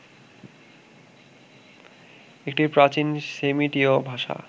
একটি প্রাচীন সেমিটীয় ভাষা